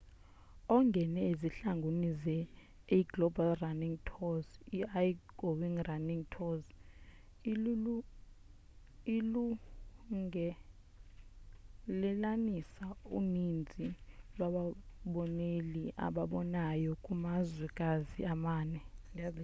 ongene ezihlangwini zeaglobal running tours i-go running tours ilungelelanisa uninzi lwababoneleli ababonayo kumazwekazi amane